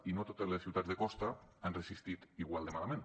i no totes les ciutats de costa han resistit igual de malament